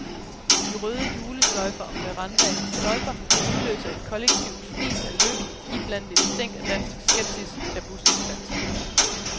De røde julesløjfer om verandaens stolper udløser et kollektivt fnis af lykke, iblandet et stænk dansk skepsis, da bussen standser.